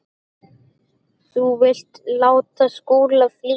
Þú vildir láta Skúla flýja.